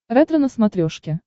ретро на смотрешке